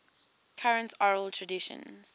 current oral traditions